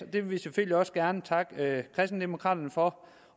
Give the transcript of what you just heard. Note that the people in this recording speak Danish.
vil vi selvfølgelig også gerne takke kristendemokraterne for